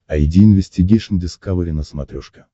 айди инвестигейшн дискавери на смотрешке